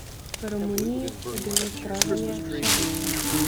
V Romuniji je bilo zgražanje še večje.